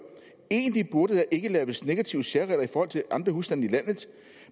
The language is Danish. egentlig burde der ikke laves negative særregler i forhold til andre husstande i landet